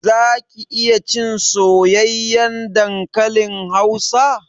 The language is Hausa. Zaki iya cin soyayyen dankalin hausa?